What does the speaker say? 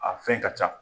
A fɛn ka ca